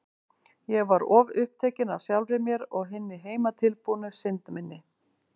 Ég var of upptekin af sjálfri mér og hinni heimatilbúnu synd minni.